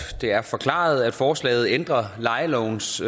det er forklaret at forslaget ændrer lejelovens